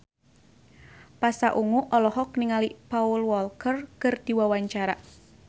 Pasha Ungu olohok ningali Paul Walker keur diwawancara